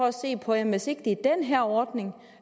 at se på at hvis ikke det er den her ordning